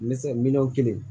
Ne se miliyɔn kelen